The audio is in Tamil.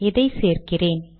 இதை சேர்க்கிறேன்